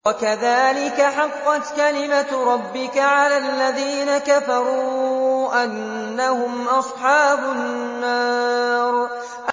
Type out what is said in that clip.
وَكَذَٰلِكَ حَقَّتْ كَلِمَتُ رَبِّكَ عَلَى الَّذِينَ كَفَرُوا أَنَّهُمْ أَصْحَابُ النَّارِ